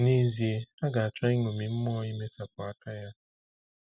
N’ezie, ha ga-achọ iṅomi mmụọ imesapụ aka ya.